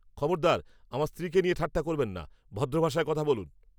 খবরদার আমার স্ত্রীকে নিয়ে ঠাট্টা করবেন না! ভদ্র ভাষায় কথা বলুন!